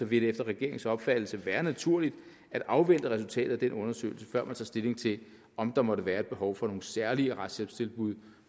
vil det efter regeringens opfattelse være naturligt at afvente resultatet af den undersøgelse før man tager stilling til om der måtte være et behov for nogle særlige retshjælpstilbud